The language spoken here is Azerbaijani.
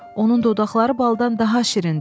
Onun dodaqları baldan daha şirindir.